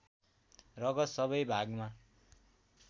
रगत सबै भागमा